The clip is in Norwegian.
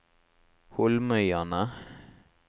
Holmøyane